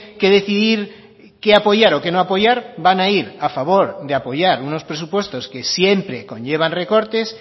que decidir qué apoyar o qué no apoyar van a ir a favor de a apoyar unos presupuestos que siempre conllevan recortes